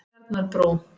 Tjarnarbrú